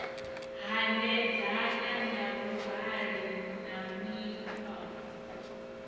hanedzana na vhuhali na mikhwa